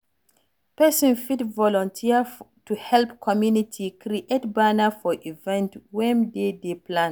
Person fit volunteer to help community create banner for event wey dem dey plan